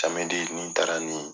ni n taara ni